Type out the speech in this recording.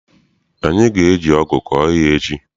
Anyị ga eji ọgụ kọọ ihe echi.